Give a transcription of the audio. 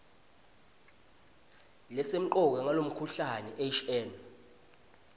lesemcoka ngalomkhuhlane hn